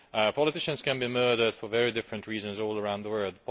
Politicians can be murdered for many different reasons all around the world.